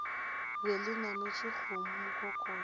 be le nametše kgomo mokokotlo